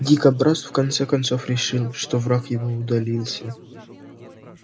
дикобраз в конце концов решил что враг его удалился